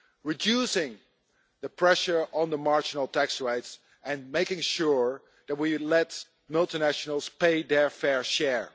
Reducing the pressure on marginal tax rates and making sure that we let multinationals pay their fair share.